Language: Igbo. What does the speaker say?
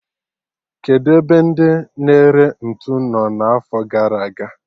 Kedụ ebe ndị na-ere ntụ nọ n'afo gara aga?